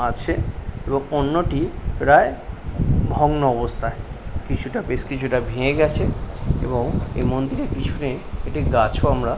আছে এবং অন্যটি প্রায় ভগ্ন অবস্থায় । কিছুটা বেশ কিছুটা ভেঙে গেছে এবং এ মন্দিরের পিছনে একটি গাছও আমরা--